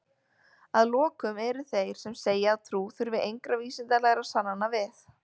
Að lokum eru þeir sem segja að trú þurfi engra vísindalegra sannana við.